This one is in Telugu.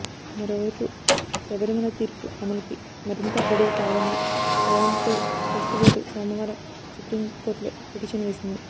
మరోవైపు శబరిమల తీర్పు అమలుకి మరింత గడువు కావాలని ట్రావెన్ కోర్ ట్రస్ట్ బోర్డు సోమవారం సుప్రీంకోర్టులో పిటిషన్ వేసింది